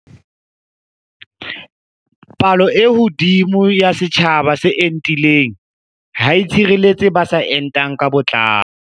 Palo e hodimo ya setjhaba se entileng ha e tshireletse ba sa entang ka botlalo.